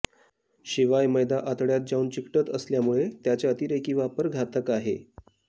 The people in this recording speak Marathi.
शिवाय मैदा आतडय़ात जाऊन चिकटत असल्यामुळे त्याचा अतिरेकी वापर घातक आहे